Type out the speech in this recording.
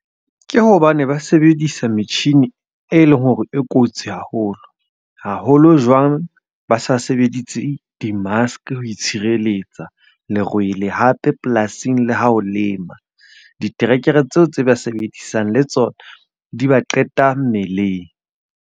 Ke hobane ba sebedisa metjhini e leng hore e kotsi haholo. Haholo jwang ba sa sebeditse di-mask ho itshireletsa lerwele. Hape polasing le ha o lema, diterekere tseo tse ba sebedisang le tsona di ba qeta mmeleng.